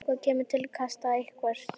Eitthvað kemur til kasta einhvers